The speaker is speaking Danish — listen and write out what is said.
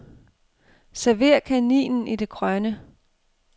Server kaninen i det grønne.